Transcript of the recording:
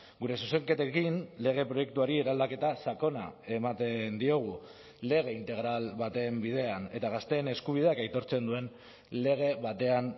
gure zuzenketekin lege proiektuari eraldaketa sakona ematen diogu lege integral baten bidean eta gazteen eskubideak aitortzen duen lege batean